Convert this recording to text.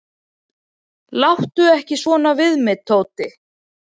"""Láttu ekki svona við mig, Tóti."""